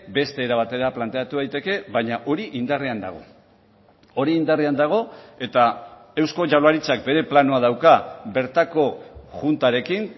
beste era batera planteatu daiteke baina hori indarrean dago hori indarrean dago eta eusko jaurlaritzak bere planoa dauka bertako juntarekin